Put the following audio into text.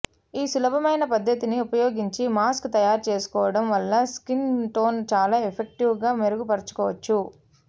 ఈ సులభమైన పద్దతిని ఉపయోగించి మాస్క్ తయారుచేసుకోవడం వల్ల స్కిన్ టోన్ చాలా ఎఫెక్టివ్ గా మెరుగుపరచుకోవచ్చు